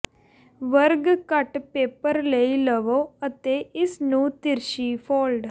ਵਰਗ ਕੱਟ ਪੇਪਰ ਲਈ ਲਵੋ ਅਤੇ ਇਸ ਨੂੰ ਤਿਰਛੀ ਫੋਲਡ